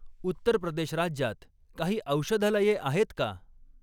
उत्तर प्रदेश राज्यात काही औषधालये आहेत का?